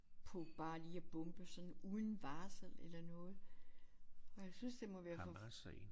På bare lige at bombe sådan uden varsel eller noget og jeg synes det må være for